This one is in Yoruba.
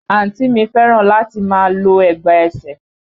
Àǹtí mi fẹ́ràn láti máa lo ẹ̀gbà ẹsẹ̀